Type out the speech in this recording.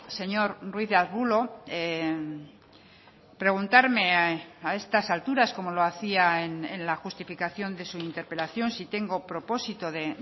señor ruiz de arbulo preguntarme a estas alturas como lo hacía en la justificación de su interpelación si tengo propósito de